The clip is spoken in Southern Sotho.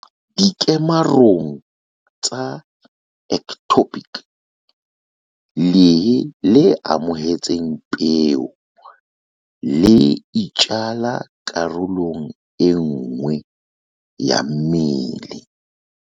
"Dikemarong tsa ectopic, lehe le amohetseng peo le itjala karolong enngwe ya mmele."